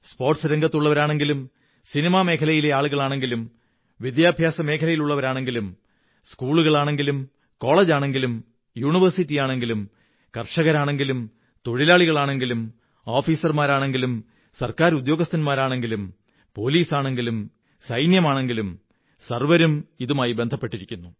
സ്പോര്്ഗങസ് രംഗത്തുള്ളവരാണെങ്കിലും സിനിമാ മേഖലയിലെ ആളുകളാണെങ്കിലും വിദ്യാഭ്യാസമേഖലയിലുള്ളവരാണെങ്കിലും സ്കൂകളുകളാണെങ്കിലും കോളജുകളാണെങ്കിലും യൂണിവേഴ്സിറ്റികളാണെങ്കിലും കര്ഷയകരാണെങ്കിലും തൊഴിലാളികളാണെങ്കിലും ഉദ്യോഗസ്ഥരാണെങ്കിലും ഗവണ്മെങന്റ് ജീവനക്കാരാണെങ്കിലും പോലീസാണെങ്കിലും സൈനികനാണെങ്കിലും സര്വ്വിരും ഇതുമായി ബന്ധപ്പെട്ടിരിക്കുന്നു